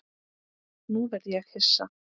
Nú verð ég hissa.